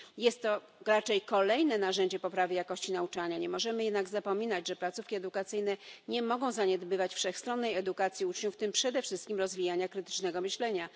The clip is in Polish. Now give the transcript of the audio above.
Jest to raczej kolejne narzędzie poprawy jakości nauczania, nie możemy jednak zapominać, że placówki edukacyjne nie mogą zaniedbywać wszechstronnej edukacji uczniów, w tym przede wszystkim rozwijania krytycznego myślenia.